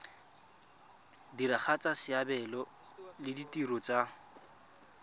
diragatsa seabe le ditiro tsa